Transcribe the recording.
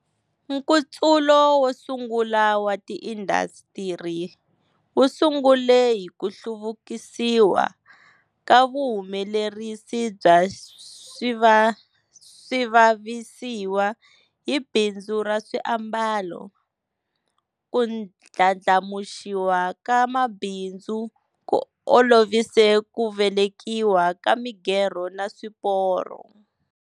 Nkutsulo wosungula wa ti indasitiri wusungule hiku hluvukisiwa ka vuhumelerisi bya swivavisiwa hi bindzu ra swiambalo. Ku ndlandlamuxiwa ka mabindzu ku olovise ku velekiwa ka migerho ni swiporo.